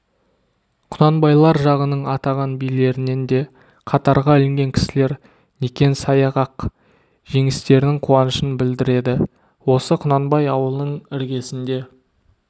құнанбайлар жағының атаған билерінен де қатарға ілінген кісілер некен-саяқ-ақ жеңістерінің қуанышын білдіреді осы құнанбай аулының іргесінде